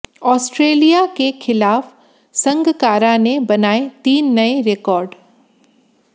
Australia के खिलाफ संगकारा ने बनाए तीन नए रेकॉर्ड